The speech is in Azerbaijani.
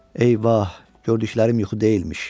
Eyvah, gördüklərim yuxu deyilmiş.